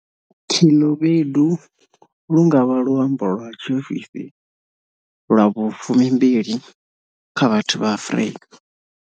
Khelobedu lu nga vha luambo lwa tshiofisi lwa vhu12 kha vhathu vha Afrika.